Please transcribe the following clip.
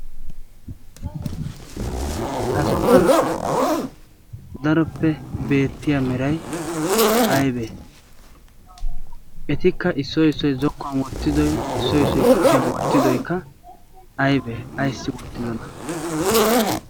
ha sohuwan daroppe beettiya meray aybbe? etikka issoy issoy zokkuwan wottidoykka issoy kushiyan wottidoy aybbe? ayssi wottidoona?